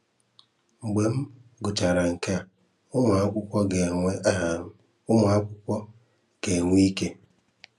Mgbe m gụchara nke a, ụmụakwụkwọ ga-enwe a, ụmụakwụkwọ ga-enwe ike: